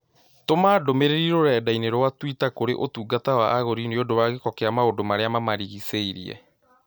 Tũma ndũmĩrĩri rũrenda-inī rũa tũita kũrĩ ũtungata wa agũri niũndũ wa gĩko kia maũndũ marĩa mamarigicharie